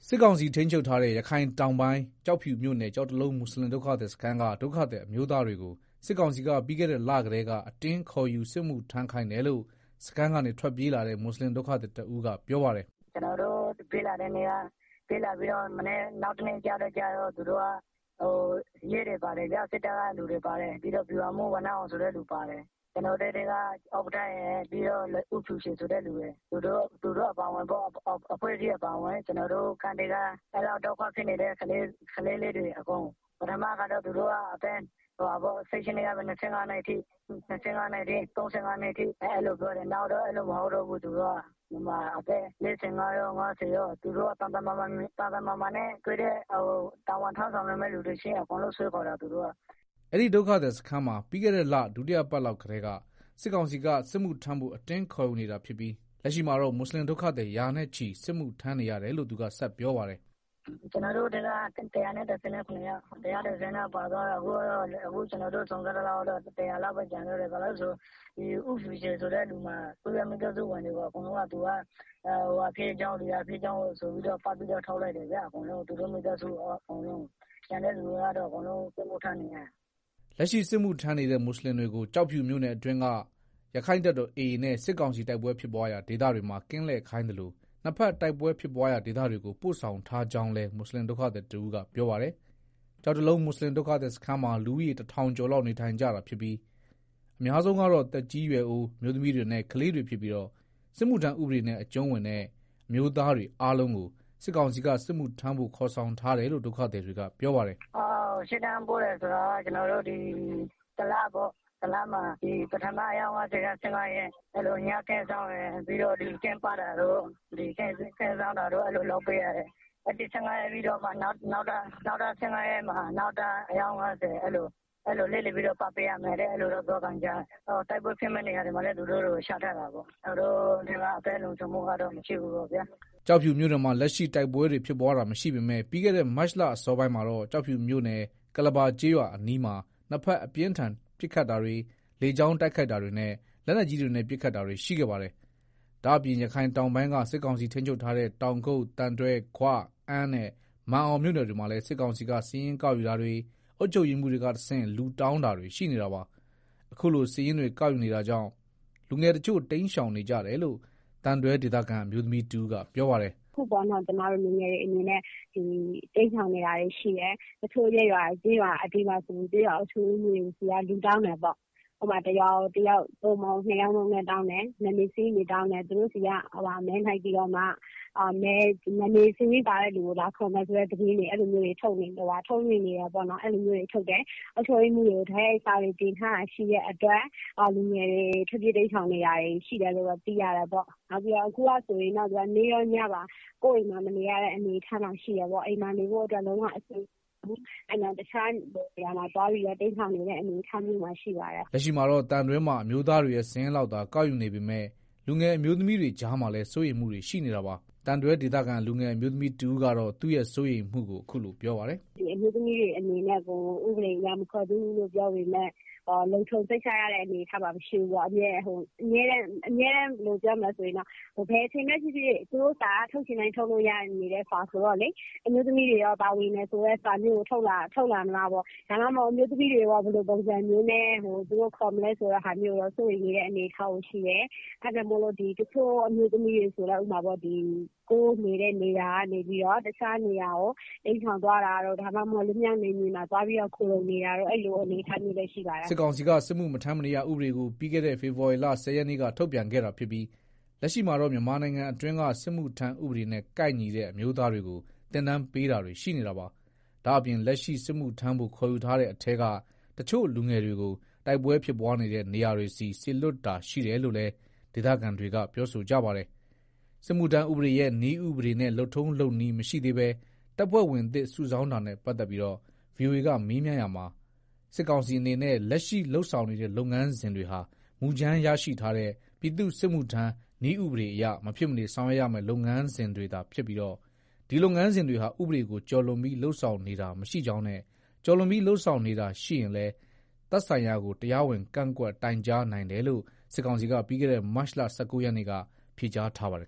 စစ်ကောင်စီထိန်းချုပ်ထားတဲ့ ရခိုင်တောင်ပိုင်းကျောက်ဖြူမြို့နယ် ကျောက်တလုံးမွတ်ဆလင် ဒုက္ခသည်စခန်းက ဒုက္ခသည်အမျိုးသားတွေကို စစ်ကောင်စီက ပြီးခဲ့တဲ့လကတည်းက အတင်းခေါ်ယူစစ်မှုထမ်းခိုင်းတယ်လို့ စခန်းကနေ ထွက်ပြေးလာတဲ့ မွတ်ဆလင်ဒုက္ခသည် တဦးကပြောပါတယ်။ “ ကျနော်တို့ ထွက်ပြေးလာပြီး နောက်တနေ့ကျတော့ သူတို့က ရဲတွေပါတယ် စစ်တပ်ကလူတွေပါတယ်၊ ပြီးတော့ဗျူဟာမှူးဝဏ္ဏအောင်ဆိုတဲ့သူပါတယ်၊ ကျနော်တို့ ကန့်ထဲကဥက္ကဌရယ် ပြီးတော့ ဦးဖြူချေဆိုတဲ့ တယောက်ပါတယ်၊ကျနော်တို့ကန့်မှာ အဲလောက် ဒုက္ခဖြစ်နေတာ၊ ပထမတော့ သူတို့က ၁၈ နှစ်ကနေ ၁၅ နှစ်အထိ ၃၅ နှစ်အထိ အဲလိုပြောတယ်သူတို့က နောက် အဲလိုမဟုတ်တော့ပဲ အသက် ၄၅ ရော ၅ဝရော၊ သန်သန်မာမာမြင်ရင် အကုန်တာ ဝန်ထမ်း ဆောင်နိုင်မယ့်သူတွေကို အကုန်ဆွဲခေါ်သွားတယ်။ ” အဲဒီဒုက္ခသည်စခန်းမှာ ပြီးခဲ့တဲ့ဒုတိယအပတ်လောက်ကတည်းက စစ်ကောင်စီကစစ်မှုထမ်းဖို့ အတင်းခေါ်ယူနေတာဖြစ်ပြီး လက်ရှိမှာတော့ မွတ်ဆလင်ဒုက္ခသည် ရာနဲ့ချီ စစ်မှု ထမ်းနေရတယ်လို့ သူကဆက်ပြောပါတယ်။ “ ကျနော်တို့ ကန့်ထဲမှာ ၁၁၇ ယောက်ပါသွားတယ်၊ အခုကျနော်တို့ စုံစမ်းကြည့်တော့ ၁၀၀ လောက်ပဲ ကျန်တော့တယ်၊ ဘာလို့လဲဆိုတော့ ဦးဖြူချေဆိုတဲ့ သူမှာသူ့ရဲ့မိသားစုဝင်တွေကို အကုန်သူက ဟိုဟာဖြစ်ကြောင်း ဒီဟာဖြစ်ကြောင်း ဆိုပြီးတော့ ပတ်ပြီးတော့ ထုတ်လိုက်တယ်၊ ကျန်တဲ့သူတွေကတော့ အကုန်လုံးစစ်မှုထမ်းနေရတယ်။ ” လက်ရှိစစ်မှုထမ်းနေတဲ့ မွတ်ဆလင်တွေကို ကျောက်ဖြူမြို့နယ်အတွင်းက ရက္ခိုင့်တပ်တော် AA နဲ့ စစ်ကောင်စီ တိုက်ပွဲဖြစ်ပွားရာ ဒေသတွေမှာ ကင်းလှည့်ခိုင်းသလို နှစ်ဖက်တိုက်ပွဲဖြစ်ပွားရာဒေသတွေကို ပို့ဆောင်ထားကြောင်းလည်း မွတ်ဆလင်ဒုက္ခသည် တဦးကပြောပါတယ်။ ကျောက်တလုံးမွတ်ဆလင်ဒုက္ခသည်စခန်းမှာ လူဦးရေတထောင်ကျော်လောက်နေထိုင်ကြတာဖြစ်ပြီး အများဆုံးကတော့ သက်ကြီးရွယ်အို၊ အမျိုးသမီးတွေနဲ့ ကလေးတွေဖြစ်ပြီး စစ်မှုထမ်းဥပဒေနဲ့ အကြုံးဝင်တဲ့အမျိုးသားတွေအားလုံးကို စစ်ကောင်စီက စစ်မှုထမ်းဖို့ ခေါ်ဆောင်ထားတယ်လို့ ဒုက္ခသည်တွေကပြောပါတယ်။ “ရှေ့တန်းပို့တယ်ဆိုတာက ကျနော်တို့ဒီ တလမှာပထမ အယောက် ၅ဝက ၁၅ရက်၊ ကင်းလှည့် တာတို့ ကင်းပတ်တာတို့လုပ်ရတယ်။ပြီးတော့မှ နောက်ကျန်တဲ့ ၁၅ရက်ကို နောက်အယောက် ၅၀ အဲလို လှည့်လည်ပြီးတော့ အလှည့်ချထားတယ်လို့ ပြောသံကြား တယ်။ပြီးတော့ တိုက်ပွဲဖြစ်မယ့်နေရာတွေမှာလည်း သူတို့တွေကို ချထားတာပေါ့၊ သူတို့တွေရဲ့ အသက်လုံခြုံမှုကတော့ မရှိဘူးပေါ့ဗျာ။” ကျောက်ဖြူမြို့နယ်မှာ လက်ရှိတိုက်ပွဲဖြစ်ပွားတာတွေမရှိပေမဲ့ ပြီးခဲ့တဲ့ မတ်လ အစောပိုင်းမှာတော့ ကျောက်ဖြူမြို့နယ် ကုလဘာကျေးရွာအနီးမှာ နှစ်ဘက် အပြန်အလှန် ပစ်ခတ် တာတွေ လေကြောင်းတိုက်ခိုက်တာတွေနဲ့ လက်နက်ကြီးတွေနဲ့ ပစ်ခတ်တာတွေ ရှိခဲ့ပါတယ်။ ဒါ့အပြင် ရခိုင်တောင်ပိုင်းက စစ်ကောင်စီထန်းချုပ်ထားတဲ့ တောင်ကုတ်၊ သံတွဲ၊ ဂွ၊ အမ်း နဲ့ မာန်အောင်မြို့နယ်တွေမှာလည်း စစ်ကောင်စီက စာရင်းကောက်ယူတာတွေ အုပ်ချုပ်ရေးမှူး တွေကနေတဆင့် လူတောင်းတာတွေရှိနေတာပါ။ အခုလို စာရင်းတွေကောက်ယူနေတာကြောင့် လူငယ်တချို့ တိမ်းရှောင်နေကြတယ်လို့ သံတွဲဒေသခံ အမျိုးသမီးတဦးကပြောပါတယ်။ “ အခုဆိုရင် ညီမတို့လူငယ်တွေ တိမ်းရှောင်နေတာတွေရှိတယ်၊ တချို့ကျေးရွာ ရပ်ကွက် တွေမှာ ကျေးရွာ အုပ်ချုပ်ရေးမှူးတွေဆီက လူတောင်းတယ်ပေါ့၊ ဥပမာ တရွာကို တယောက် ၂ယောက်နှုန်းနဲ့ တောင်းတယ် နာမည်စာရင်းတွေ တောင်းတယ်၊ သူတို့ဆီက မဲနိုပ်ပြီးတော့မှ နာမည်စာရင်းပါတဲ့သူတွေကို လာခေါ်မယ်ဆိုတဲ့ သတင်းတွေ ထုတ်နေတာရှိတဲ့အတွက် လူငယ်တွေ ထွက်ပြေးတိမ်းရှောင်နေတာရှိတယ်၊ အခုက နေ့ရောညပါ ကို်ယ့်အိမ်မှာမနေရတဲ့ အနေအထားမှာရှိတယ်၊ အိမ်မှာနေလို့အဆင်မပြေဘူး။ တခြားနေရာမှာ တိမ်းရှောင် နေရ တယ်။” လက်ရှိမှာတော့ သံတွဲမှာ အမျိုးသားတွေရဲ့ စာရင်းလောက်သာ ကောက်ယူနေပေမယ့် လူငယ်အမျိုးသမီးတွေကြားမှာလည်းစိုးရိမ်မှုတွေရှိနေတာပါ။သံတွဲဒေသခံလူငယ်အမျိုးသမီးတဦးကတော့ သူ့ရဲ့စိုးရိမ်မှုကို အခုလို ပြောပါတယ်။ “အမျိုးသမီးတွေကို ဥပဒေအရ မခေါ်သေးဘူးလို့ ပြောပေမဲ့ လုံခြုံစိတ်ချရတဲ့ အနေအထားမှာ မရှိသေးဘူး ဘယ်လိုပြောရမလဲ သူတို့စာက ထုတ်ချင်တိုင်း ထုတ်လို့ရနေတဲ့ စာဆိုတော့ လေ၊ အမျိုးသမီးတွေ ပါပြီဆိုတဲ့ စာတွေ ထုတ်လာမလားပေါ့၊ ဒါမှမဟုတ် အမျိုးသမီးတွေကို ဘယ်လိုပုံစံမျိုးနဲ့ သူတို့ခေါ်မလဲ ဆိုတာကို စိုးရိမ်နေတယ်၊ အဲတာကြောင့် တချို့အမျိုး သမီးတွေဆိုရင်လည်း ကိုယ်နေတဲ့ နေရာကနေပြီးတော့ တခြားနေရာကို တိမ်းရှောင်သွားတာတို့ ဒါမှမဟုတ် လွတ်မြောက်နယ်မြေမှာ သွားရောက်ခိုလှုံနေတာတို့ရှိပါတယ်။” စစ်ကောင်စီက စစ်မှုမထမ်းမနေရဥပေဒကို ပြီးခဲ့တဲ့ ဖေဖော်ဝါရီလ ၁ဝရက်နေ့က ထုတ်ပြန်ခဲ့တာဖြစ်ပြီး လက်ရှိမှာတော့ မြန်မာနိုင်ငံအတွင်းက စစ်မှုထမ်းဥပဒေနဲ့ ကိုက်ညီတဲ့ အမျိုးသား တွေကို သင်တန်း ပေးတာတွေရှိနေတာပါ။ ဒါ့အပြင် လက်ရှိ စစ်မှုထမ်းဖို့ခေါ် ယူထားတဲ့ထဲက တချို့လူငယ်တွေကို တိုက်ပွဲဖြစ်ပွားနေတဲ့ နေရာတွေကို စေလွတ်တာရှိတယ်လို့လည်း ဒေသခံတွေကပြောဆိုကြပါတယ်။ စစ်မှုထမ်းခွင့်ဥပဒေရဲ့ နည်းဥပဒေနဲ့လုပ်ထုံးလုပ်နည်းမရှိသေးဘဲ တပ်ဖွဲ့ဝင်သစ် စုဆောင်းတာနဲ့ ပတ်သတ်ပြီး ဗွီအိုအေက မေးမြန်းရာမှာ စစ်ကောင်စီအနေနဲ့ လက်ရှိလုပ်ဆောင်နေတဲ့ လုပ်ငန်းစဉ်တွေဟာ မူကြမ်းရရှိထားတဲ့ ပြည်သူ့ စစ်မှုထမ်းနည်း ဥပဒေအရ မဖြစ်မနေဆောင်ရွက်ရမယ့် လုပ်ငန်းစဉ်တွေသာဖြစ်ပြီး ဒီ လုပ်ငန်းစဉ်တွေဟာ ဥပဒေကို ကျော်လွန်ပြီး လုပ်ဆောင်နေတာမရှိကြောင်းနဲ့ ကျော်လွန်ပြီး လုပ်ဆောင်နေတာတွေရှိရင် သက်ဆိုင်ရာကို တရားဝင်ကန့်ကွက်တိုင်ကြားနိုင်တယ်လို့ စစ်ကောင်စီက ပြီးခဲ့တဲ့ မတ်လ ၁၉ရက်နေ့က ဖြေကြားထားပါတယ်